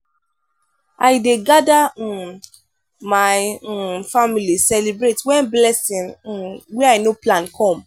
i dey gada um my um family celebrate wen blessing um wey i no plan come.